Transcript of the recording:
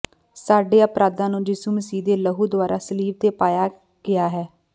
ਸਾਡੇ ਅਪਰਾਧਾਂ ਨੂੰ ਯਿਸੂ ਮਸੀਹ ਦੇ ਲਹੂ ਦੁਆਰਾ ਸਲੀਬ ਤੇ ਪਾਇਆ ਗਿਆ ਹੈ